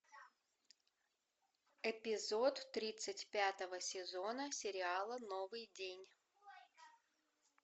эпизод тридцать пятого сезона сериала новый день